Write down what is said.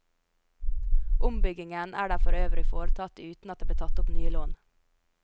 Ombyggingen her ble for øvrig foretatt uten at det ble tatt opp nye lån.